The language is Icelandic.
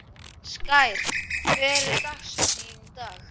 Skær, hver er dagsetningin í dag?